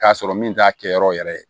K'a sɔrɔ min t'a kɛ yɔrɔ wɛrɛ ye